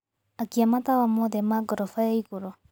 akia matawa mothe ma gorofa ya ĩgũrũ